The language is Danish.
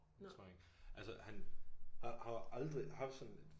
Det tror jeg ikke. Altså han har har aldrig haft sådan et